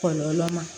Kɔlɔlɔ ma